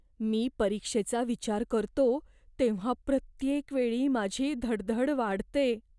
मी परीक्षेचा विचार करतो तेव्हा प्रत्येक वेळी माझी धडधड वाढते.